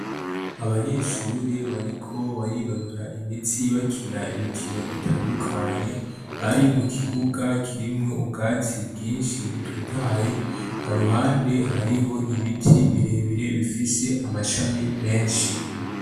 Abanyeshure bariko barinonora imitsi bakina imikino itandukanye bari mu kibuga kirimwo ubwatsi bwinshi bututaye ha ruhande hariho ibiti birebire bifise amashami menshi.